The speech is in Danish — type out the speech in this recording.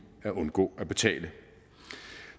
at undgå at betale